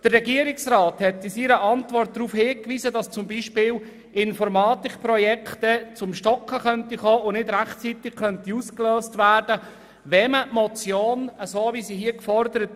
Der Regierungsrat hat in seiner Antwort darauf hingewiesen, dass beispielsweise Informatikprojekte ins stocken kommen oder nicht rechtzeitig ausgelöst werden könnten, wenn man die Motion so umsetzt, wie gefordert.